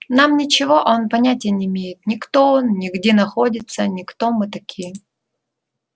нам ничего а он понятия не имеет ни кто он ни где находится ни кто мы такие